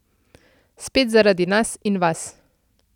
Spet zaradi nas in vas.